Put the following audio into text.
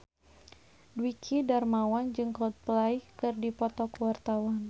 Dwiki Darmawan jeung Coldplay keur dipoto ku wartawan